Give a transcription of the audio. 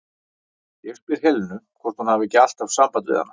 Ég spyr um Helenu, hvort hún hafi ekki alltaf samband við hana?